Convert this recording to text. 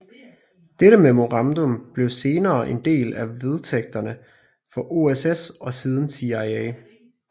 Dette memorandum blev senere en del af vedtægterne for OSS og siden CIA